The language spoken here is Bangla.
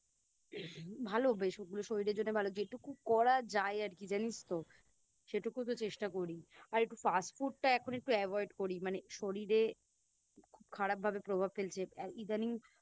ভালো বেশ ওগুলো শরীরের জন্য ভালো যেটুকু করা যায় আরকি জানিস তো সেটুকুতো চেষ্টা করি আর একটু Fast food টা এখন একটু Avoid করি মানে শরীরে খুব খারাপ ভাবে প্রভাব ফেলছে ইদানিং